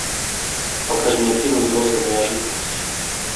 покажи мне фильм взрослая неожиданность